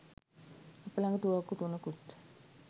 අප ළඟ තුවක්කු තුනකුත්